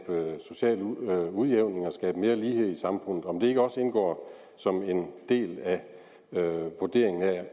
social udjævning og at skabe mere lighed i samfundet og om det ikke også indgår som en del af vurderingen af